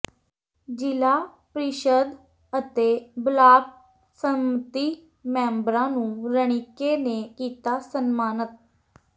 ਜ਼ਿਲ੍ਹਾ ਪ੍ਰੀਸ਼ਦ ਅਤੇ ਬਲਾਕ ਸੰਮਤੀ ਮੈਂਬਰਾਂ ਨੂੰ ਰਣੀਕੇ ਨੇ ਕੀਤਾ ਸਨਮਾਨਤ